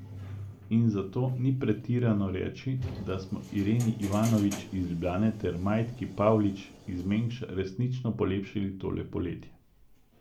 In zato ni pretirano reči, da smo Ireni Ivanovič iz Ljubljane ter Majdki Pavlič iz Mengša resnično polepšali tole poletje.